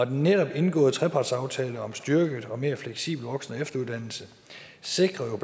netop indgåede trepartsaftale om styrket og mere fleksibel voksen og efteruddannelse sikrer